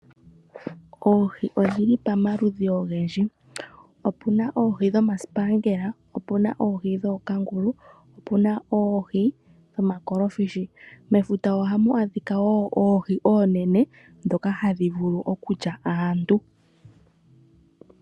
Oohi odhili pamaludhi ogendji, opuna oohi dhomasipangela, opuna oohi dhookangulu, opuna oohi dhomakolofishi. Mefuta ohamu adhika wo oohi oonene ndhoka hadhi vulu okulya aantu.